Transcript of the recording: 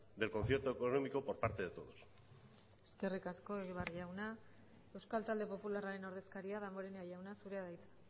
del concierto económico por parte de todos eskerrik asko egibar jauna euskal talde popularraren ordezkaria damborenea jauna zurea da hitza